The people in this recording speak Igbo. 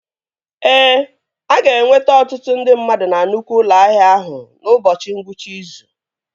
Ee, a ga-enwe ọtụtụ ndị mmadụ na nnukwu ụlọ ahịa ahụ n'ụbọchị ngwụcha izu